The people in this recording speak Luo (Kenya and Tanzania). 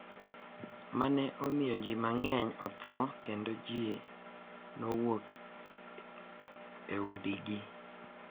Ma ne omiyo ji mang’eny otho kendo ji nowuok e udigi.